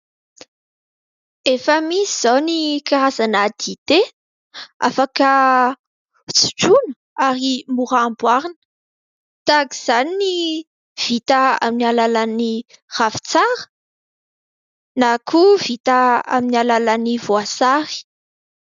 Efa misy izao ny karazana dité afaka sotroina ary mora amboarina. Tahak' izany ny vita amin'ny alalan'ny ravitsara na koa vita amin'ny alalan'ny voasary.